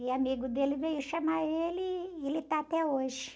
E amigo dele veio chamar ele e ele tá até hoje.